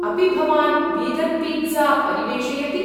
अपि भवान् vegan pizza परिवेषयति?